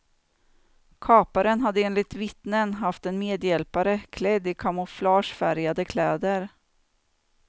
Kaparen hade enligt vittnen haft en medhjälpare klädd i kamouflagefärgade kläder.